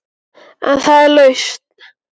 En er það lausn?